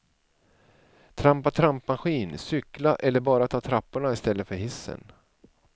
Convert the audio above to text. Trampa trampmaskin, cykla eller bara ta trapporna istället för hissen.